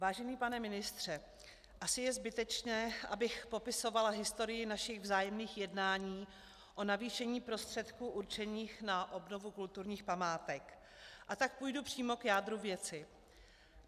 Vážený pane ministře, asi je zbytečné, abych popisovala historii našich vzájemných jednání o navýšení prostředků určených na obnovu kulturních památek, a tak půjdu přímo k jádru věci.